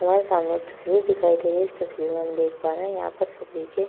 हमारे सामने एक तस्वीर दिखाई दे रही है। इस तस्वीर में हम देख पा रहे हैं यहाँ पर सब्जी के --